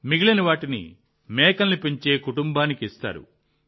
మిగిలిన వాటిని మేకలను పెంచే కుటుంబానికి ఇస్తారు